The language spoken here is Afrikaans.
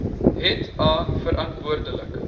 het a verantwoordelik